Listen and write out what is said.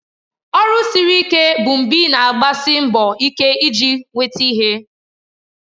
Ọrụ siri ike bụ mgbe ị na-agbasi mbọ ike iji nweta ihe